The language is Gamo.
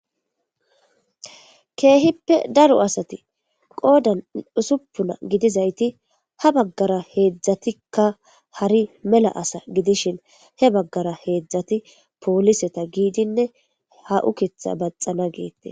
Keehipe daro asati qoodan usupuna gidizasati ha bagara heezatika hari mela asa gidishin he bagara heezati poolise giidine ha uuketha bathana geethes.